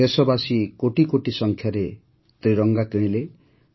ଦେଶବାସୀ କୋଟିକୋଟି ସଂଖ୍ୟାରେ ତ୍ରିରଙ୍ଗା କିଣିଲେ